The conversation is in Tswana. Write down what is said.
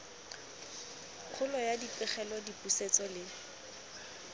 kgolo ya dipegelo dipusetso le